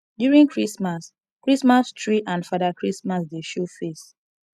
during christmas christmas tree and fada christmas dey show face